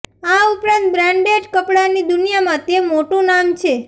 આ ઉપરાંત બ્રાન્ડેડ કપડાંની દુનિયામાં તે મોટું નામ છે